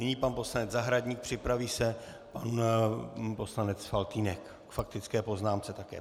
Nyní pan poslanec Zahradník, připraví se pan poslanec Faltýnek k faktické poznámce také.